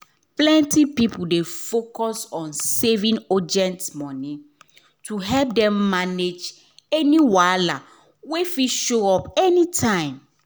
plenty people dey focus on saving urgent money to help dem manage any wahala wey fit show up any time